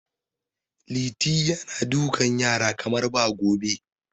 Liti yana dukan yaran kamar ba gobe.